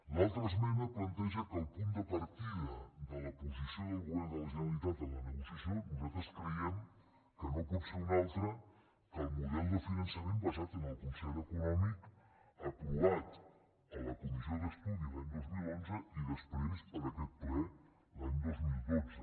l’altra esmena planteja que el punt de partida de la posició del govern de la generalitat en la negociació nosaltres creiem que no pot ser un altre que el model finançament basat en el concert econòmic aprovat a la comissió d’estudi l’any dos mil onze i després per aquest ple l’any dos mil dotze